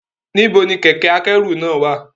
Nibo ni kẹkẹ-akẹru náa wa?